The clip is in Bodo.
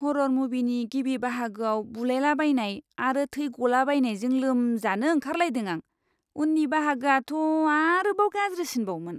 हर'र मुभिनि गिबि बाहागोआव बुलायलाबायनाय आरो थै गलाबायनायजों लोमजानो ओंखारलायदों आं, उननि बाहागोआथ' आरोबाव गाज्रिसिनबावमोन!